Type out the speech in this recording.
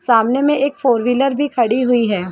सामने में एक फॉर व्हीलर भी खड़ी हुई है।